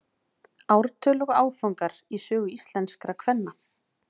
ártöl og áfangar í sögu íslenskra kvenna